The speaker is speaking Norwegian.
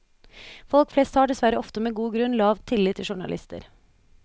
Folk flest har, dessverre ofte med god grunn, lav tillit til journalister.